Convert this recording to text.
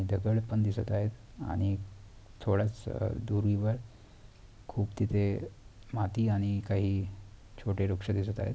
दगड पण दिसत आहेत आणि थोड्यासं दुरीवर खूप तिथे माती आणि काही छोटे वृक्ष दिसत आहेत.